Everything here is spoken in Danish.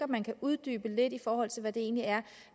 man kan uddybe det lidt i forhold til hvad det egentlig er